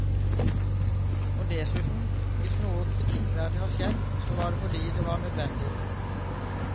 Og dessuten, hvis noe kritikkverdig var skjedd, så var det fordi det var nødvendig.